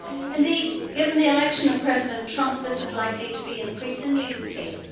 Indeed, given the election of President Trump, this is likely to be increasingly the case.